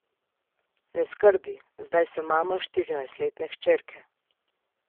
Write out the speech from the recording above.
Ne skrbi, zdaj sem mama štirinajstletne hčerke.